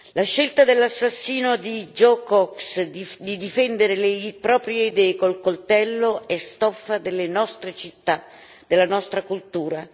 La scelta dell'assassino di Joe Cox di difendere le proprie idee col coltello è stoffa delle nostre città, della nostra cultura.